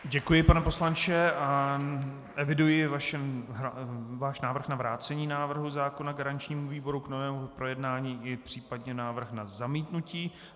Děkuji, pane poslanče, a eviduji váš návrh na vrácení návrhu zákona garančnímu výboru k novému projednání i případně návrh na zamítnutí.